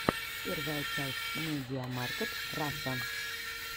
первая часть медиамаркт раша